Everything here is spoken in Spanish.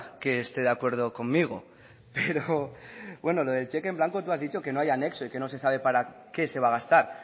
que esté de acuerdo conmigo pero lo de cheque en blanco tú has dicho y que no hay anexo y que no se sabe para qué se va a gastar